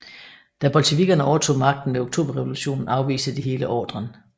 Da bolsjevikkerne overtog magten ved Oktoberrevolutionen afviste de hele ordren